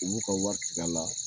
U b'u ka wari tiga la